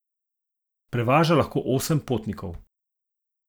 Prevaža lahko osem potnikov.